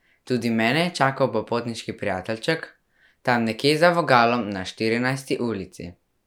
Tudi mene je čakal popotniški prijateljček, tam nekje za voglom, na Štirinajsti ulici.